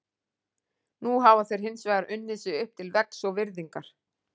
Nú hafa þeir hins vegar unnið sig upp til vegs og virðingar.